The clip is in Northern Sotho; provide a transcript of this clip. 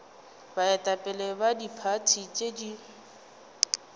baetapele ba diphathi tše di